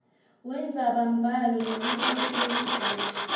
wendzabambhalo nemibuto lemifisha